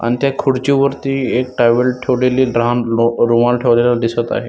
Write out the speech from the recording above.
अण त्या खुर्ची वरती एक टॅवेल ठेवलेली ल आ रो अ रुमाल ठेवलेला दिसत आहे.